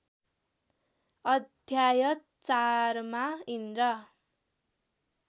अध्याय चारमा इन्द्र